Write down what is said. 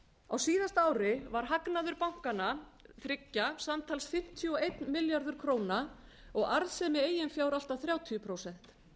á síðasta ári var hagnaður bankanna þriggja samtals fimmtíu og einn milljarður króna og arðsemi eigin fjár allt að þrjátíu prósent